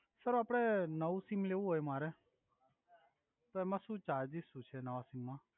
sir આપડે નવુ sim લેવુ હોય મારે તો એમા સુ ચાર્જિસ સુ છે નાવા સિમમા